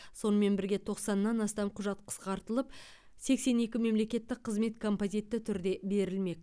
сонымен бірге тоқсаннан астам құжат қысқартылып сексен екі мемлекеттік қызмет композитті түрде берілмек